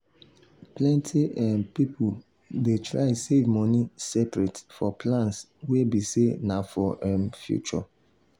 plenty um people dey try save money separate for plans wey be say na for um future